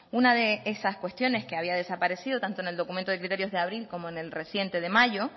una de esas cuestiones que había desaparecido tanto en el documento de criterios de abril como en el reciente de mayo